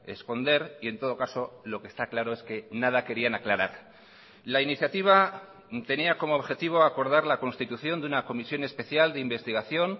esconder y en todo caso lo que está claro es que nada querían aclarar la iniciativa tenía como objetivo acordar la constitución de una comisión especial de investigación